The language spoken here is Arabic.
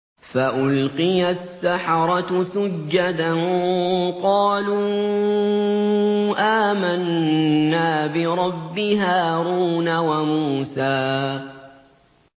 فَأُلْقِيَ السَّحَرَةُ سُجَّدًا قَالُوا آمَنَّا بِرَبِّ هَارُونَ وَمُوسَىٰ